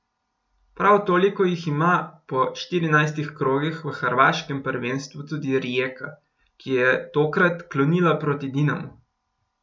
Prav toliko jih ima po štirinajstih krogih v hrvaškem prvenstvu tudi Rijeka, ki je tokrat klonila proti Dinamu.